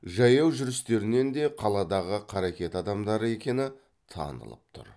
жаяу жүрістерінен де қаладағы қаракет адамдары екені танылып тұр